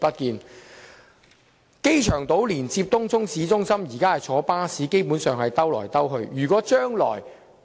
現時往來機場島和東涌市中心的巴士基本上是"兜來兜去"。